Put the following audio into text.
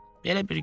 Belə bir gün idi.